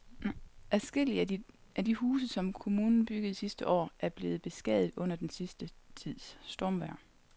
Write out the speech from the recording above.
Adskillige af de huse, som kommunen byggede sidste år, er blevet beskadiget under den sidste tids stormvejr.